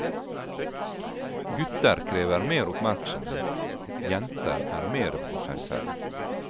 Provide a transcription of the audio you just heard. Gutter krever mer oppmerksomhet, jenter er mere for seg selv.